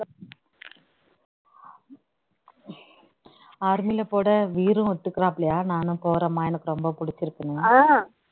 army ல கூட வீரம் நானும் போறேன்மா எனக்கு ரொம்ப பிடிச்சி இருக்குன்னு